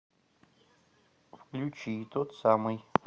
включи тот самый